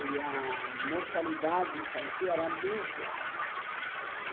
E a mortalidade infantil era muito alta.